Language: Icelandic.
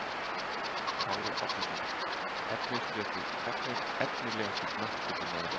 Kári Árnason Efnilegasti knattspyrnumaður landsins?